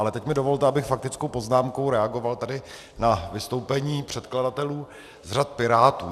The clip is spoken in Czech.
Ale teď mi dovolte, abych faktickou poznámkou reagoval tady na vystoupení předkladatelů z řad Pirátů.